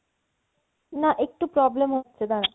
না একটু problem হচ্ছে দারা